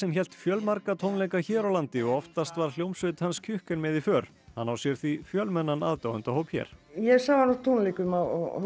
hélt fjölmarga tónleika hér á landi og oftast var hljómsveit hans Kjukken með í för hann á sér því fjölmennan aðdáendahóp hér ég sá hann á tónleikum á